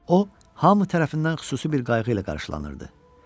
O, hamı tərəfindən xüsusi bir qayğı ilə qarşılanırdı.